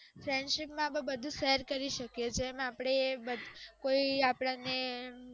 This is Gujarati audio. friends માં બધ શેર કરી શકીએ છે એમ આપણે કોઇ આપણ ને